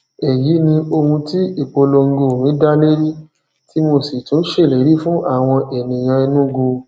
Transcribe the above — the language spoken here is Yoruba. èyí ni ohun tí ìpolongo mi dálérí tí mo sì tún ṣèlérí fún àwọn ènìyàn enugu